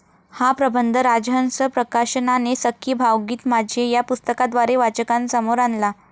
हा प्रबंध राजहंस प्रकाशनाने 'सखी. भावगीत माझे या पुस्तकाद्वारे वाचकांसमोर आणला.